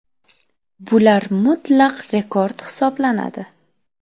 Bular mutlaq rekord hisoblanadi.